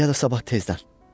Ya da sabah tezdən.